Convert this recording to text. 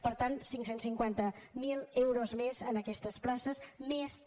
per tant cinc cents i cinquanta miler euros més per aquestes places més també